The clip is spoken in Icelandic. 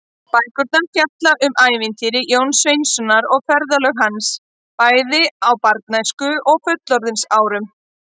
Bækurnar fjalla um ævintýri Jóns Sveinssonar og ferðalög hans, bæði á æsku- og fullorðinsárum.